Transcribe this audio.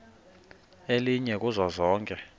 elinye kuzo zonke